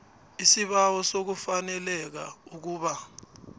isibawo sokufaneleka ukuba